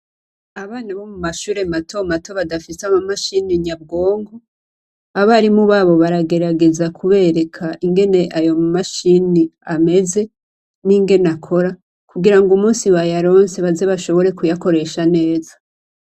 Abana bo mu mashure matomato badafise ama mashini nyabwonko, abarimu babo baragerageza kubereka ingene ayo ma mashini ameze n'ingene akora kugirango umusi bayaronse baze bashobore kuyakoresha neza.